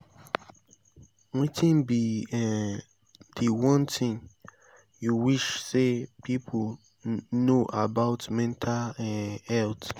wetin be um di one thing you wish say people know about mental um health?